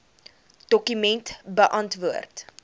dokument beantwoord